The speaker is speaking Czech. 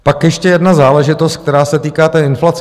Pak ještě jedna záležitost, která se týká té inflace.